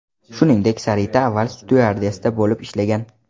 Shuningdek, Sarita avval styuardessa bo‘lib ishlagan.